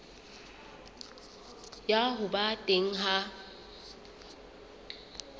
ya ho ba teng ha